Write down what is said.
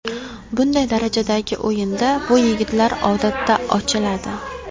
Bunday darajadagi o‘yinda bu yigitlar odatda ochiladi.